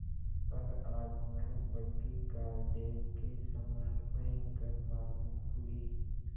पर आज वह बग्घी कालदेव के समान भयंकर मालूम हुई